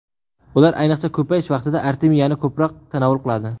Ular ayniqsa, ko‘payish vaqtida artemiyani ko‘proq tanovul qiladi.